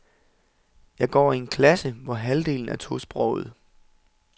Jeg går i en klasse, hvor halvdelen er tosprogede.